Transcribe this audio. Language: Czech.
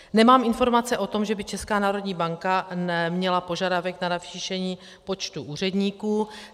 Nemám informace o tom, že by Česká národní banka měla požadavek na navýšení počtu úředníků.